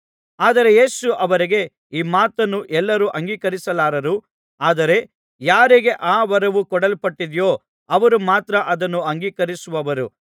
ಆದರೆ ಯೇಸು ಅವರಿಗೆ ಈ ಮಾತನ್ನು ಎಲ್ಲರೂ ಅಂಗೀಕರಿಸಲಾರರು ಆದರೆ ಯಾರಿಗೆ ಆ ವರವು ಕೊಡಲ್ಪಟ್ಟಿದೆಯೋ ಅವರು ಮಾತ್ರ ಅದನ್ನು ಅಂಗೀಕರಿಸುವರು